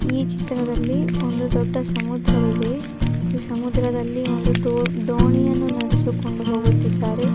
ಈ ಚಿತ್ರದಲ್ಲಿ ಒಂದು ದೊಡ್ಡ ಸಮುದ್ರವಿದೆ ಈ ಸಮುದ್ರದಲ್ಲಿ ಒಂದು ದೋ ದೋಣಿಯನ್ನು ನಡೆಸಿಕೊಂಡು ಹೋಗುತ್ತಿದ್ದಾರೆ.